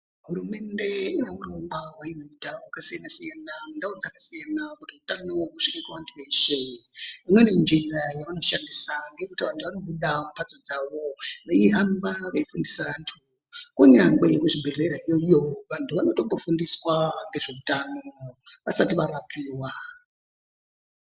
Hurumende inehurongwa hwainoita hwakasiyanasiayana mundau dzakasiyana kuti utano husvike kuvantu veshe imweni njira yavanoshandisa ngeyekuti vanhu vanobuda mumhatsoo dzawo veihamba veifundisa vantu kunyangwe kuzvibhehleya ikweyo vanhu vanotombofundiswa ngezveutano vasati varapiwa.